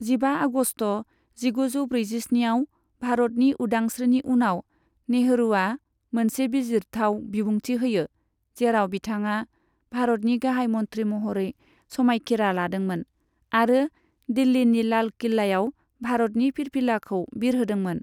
जिबा आगस्ट, जिगुजौ ब्रैजिस्निआव भारतनि उदांश्रीनि उनाव, नेहरुआ मोनसे बिजिरथाव बिबुंथि होयो, जेराव बिथाङा भारतनि गाहाय मन्थ्रि महरै समायखिरा लादोंमोन आरो दिल्लीनि लाल किल्लायाव भारतनि फिरफिलाखौ बिरहोदोंमोन।